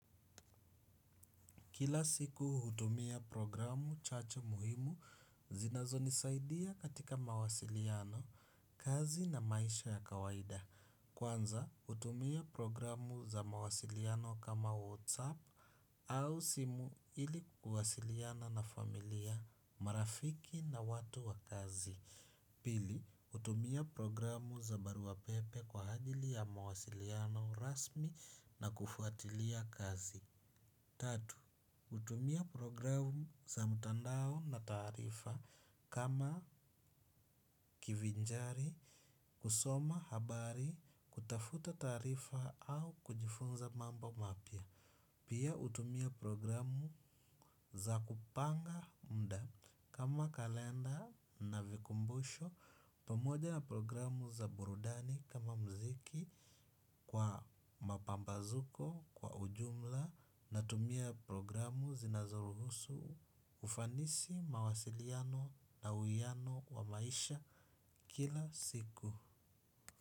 Kila siku hutumia programu chache muhimu zinazo nisaidia katika mawasiliano, kazi na maisha ya kawaida. Kwanza hutumia programu za mawasiliano kama WhatsApp au simu ili kuwasiliana na familia, marafiki na watu wa kazi. Pili hutumia programu za barua pepe kwa ajili ya mawasiliano rasmi na kufuatilia kazi. Tatu, hutumia programu za mtandao na taarifa kama kivinjari, kusoma habari, kutafuta tarifa au kujifunza mambo mapya. Pia utumia programu za kupanga muda kama kalenda na vikumbusho pamoja na programu za burudani kama mziki kwa mapambazuko kwa ujumla natumia programu zinazoruhusu ufanisi mawasiliano na uwiano wa maisha kila siku.